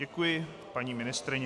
Děkuji paní ministryni.